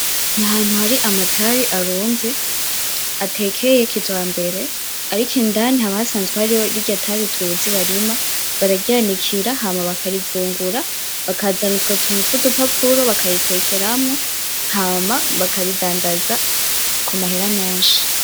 Ni ahantu hari amatabi arunze ,atekeye kijambere ariko indani haba hasanzwe harimwo rirya tabi tuzi barima, bararyanikira hama bakarivungura, bakazana utwo tuntu twudupapuro bakaritekeramwo hama bakaridandaza ku mahera menshi.